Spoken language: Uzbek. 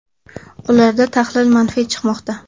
Ularda tahlil manfiy chiqmoqda.